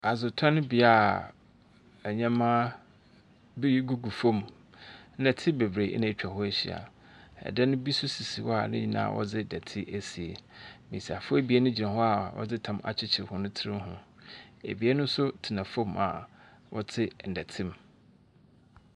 Adi tɔn bia nneɛma bi gugu fom. Nɛte beberee ena ɛtwa hɔ ahyia. Ɛ dan bi sisi hɔ a nyinaa wɔdzi dɔte esie. Mbesiafo ebien gyina hɔ a wɔde ɛtam akyekyerew wɔn tri ɛ ho. Ebien nso tena fom hɔ a wɔte n'dɛte mu.